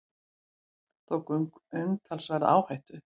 Tók umtalsverða áhættu